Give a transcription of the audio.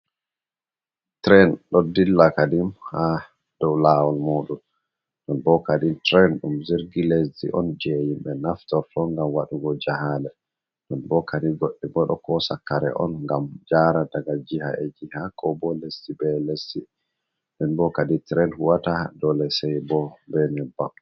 Tren ɗo dilla kadim ha dow lawol mudum. Ɗon bo kadi tren ɗum jirgi lesdi on je himɓe naftorto ngam waɗugo jahale ɗon bokadi goɗɗe bo ɗo kosa kare on ngam jara daga jiha e jiha ko bo lesdi be lesdi nden bo kadi tren huwata dole sai bo be nyebbam.